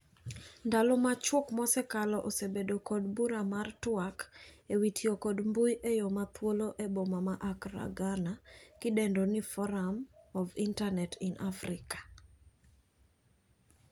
Ndalo machuok mosekalo osebedo kod bura mar twak ewi tiyo kod mbui eyo ma thuolo eboma ma Accra ,Ghana kidendo ni Forum of Internet in Afrika.